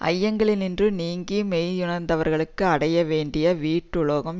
ஐயங்களினின்று நீங்கி மெய்யுணர்ந்தவர்களுக்கு அடைய வேண்டிய வீட்டுலகம்